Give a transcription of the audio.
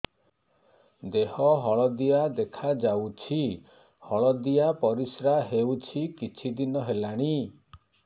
ଦେହ ହଳଦିଆ ଦେଖାଯାଉଛି ହଳଦିଆ ପରିଶ୍ରା ହେଉଛି କିଛିଦିନ ହେଲାଣି